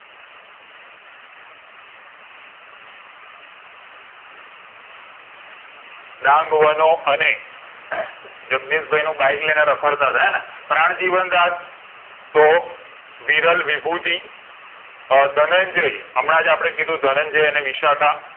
ડાંગ વનો અને જગદીશભાઈ નું bike લઈને રાખડતા તા હે ને પ્રાણજીવનદાશ તો વિરલ વિભૂતિ અ ધનંજય હમણાં જ અપને કીધું ધનંજય અને વિશાખા